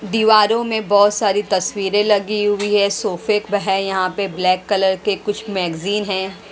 दीवारों में बहुत सारी तस्वीरें लगी हुई है सोफे है यहां पे ब्लैक कलर के कुछ मैगजीन है।